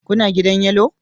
Kuna gidan Yellow